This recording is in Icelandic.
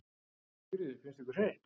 Sigríður: Finnst ykkur heitt?